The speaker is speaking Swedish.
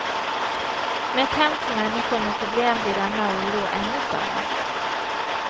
Med ett hem för människor med problem blir denna oro ännu större.